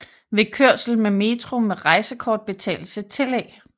Ved kørsel med metro med rejsekort betales et tillæg